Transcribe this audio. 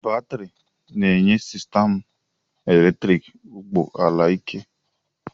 Batrị na-enye sistemụ eletriki ụgbọ ala ike